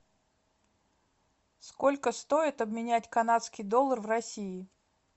сколько стоит обменять канадский доллар в россии